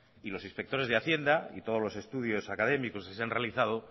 y los inspectores de hacienda y todos los estudios académicos que se han realizado